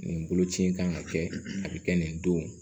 Nin boloci in kan ka kɛ a bɛ kɛ nin don